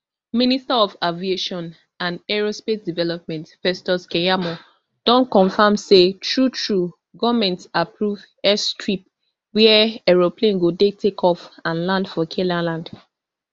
minister of aviation and aerospace development festus keyamo don confam say truetrue goment approve airstrip wia aeroplane go dey takeoff and land for canaanland